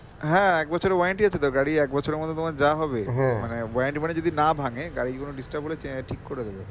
হ্যাঁ এক বছরের warranty আছে তো গাড়ির এক বছরের মধ্যে তোমার যা হবে মানে warranty যদি না ভাঙে গাড়ির কোনো disturb হলে চ~ ঠিক করে দেবে